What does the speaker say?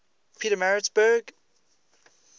pietermaritzburg